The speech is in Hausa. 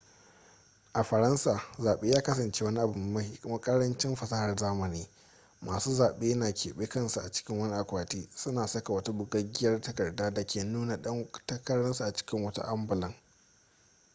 a faransa zaɓe ya kasanace wani abu mai ƙarancin fasahar zamani masu zaɓe na keɓe kansu a cikin wani akwati suna saka wata bugaggiyar takarda da ke nuna ɗan takararsu a cikin wata ambulan